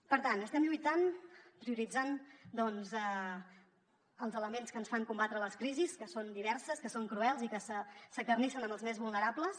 per tant estem lluitant prioritzant doncs els elements que ens fan combatre les crisis que són diverses que són cruels i que s’acarnissen amb els més vulnerables